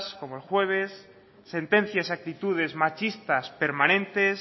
como el jueves sentencias y actitudes machistas permanentes